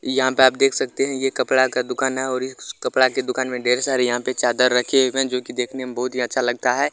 यहाँ पे आप देख सकते है ये कपड़ा का दुकान है ओर इस कपड़ा की दुकान मे ढेर सारे यहा पे चादर रखे हुए है जो की देखने मे बहुत ही अच्छा लगता है।